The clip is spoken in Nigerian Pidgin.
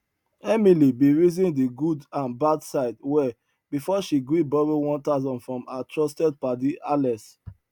emily bin reason di good and bad side well before she gree borrow one thousand from her trusted padi alex